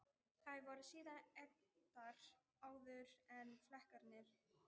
Þær voru síðan egndar áður en flekarnir voru lagðir á sjóinn.